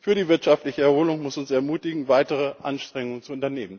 für die wirtschaftliche Erholung muss uns ermutigen, weitere Anstrengungen zu unternehmen.